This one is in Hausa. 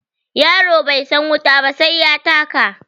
Yaro bai san wuta ba sai ya taka.